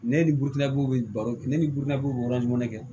Ne ni butigiw bɛ baro ne ni budinaw bɛ yɔrɔ jumɛn de